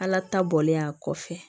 Ala ta bɔlen a kɔfɛ